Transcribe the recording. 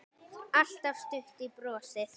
Alltaf stutt í brosið.